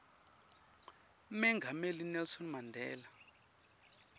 mengameli nelson mandela